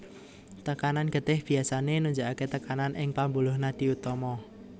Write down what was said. Tekanan getih biasané nunjukaké tekanan ing pambuluh nadi utama